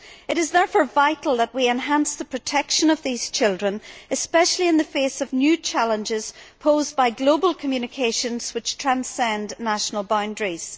It is therefore vital that we enhance the protection of these children, especially in the face of new challenges posed by global communications which transcend national boundaries.